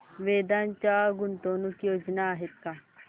वेदांत च्या गुंतवणूक योजना आहेत का